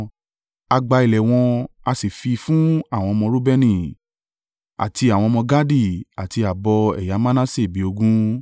A gba ilẹ̀ wọn a sì fi fún àwọn ọmọ Reubeni, àti àwọn ọmọ Gadi, àti ààbọ̀ ẹ̀yà Manase bí ogún.